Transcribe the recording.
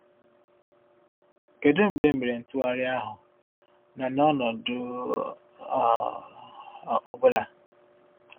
Kedu mgbe e mere ntụgharị ahụ, na n’ọnọdụ um ọ̀ bụla?